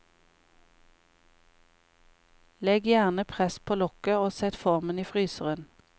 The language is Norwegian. Legg gjerne press på lokket og sett formen i fryseren.